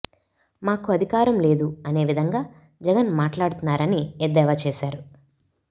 మాకు అధికారం లేదు అనే విధంగా జగన్ మాట్లాడుతున్నారని ఎద్దేవా చేశారు